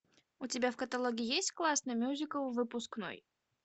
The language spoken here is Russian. у тебя в каталоге есть классный мюзикл выпускной